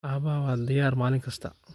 Aabbahaa waa da'yar maalin kasta